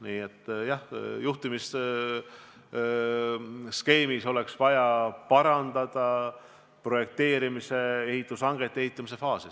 Nii et jah, juhtimisskeemis oleks vaja parandada projekteerimise, ehitushangete ja ehitamise faase.